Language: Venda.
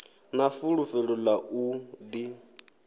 na fulufhelo ḽa u ḓi